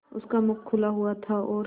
उसका मुख खुला हुआ था और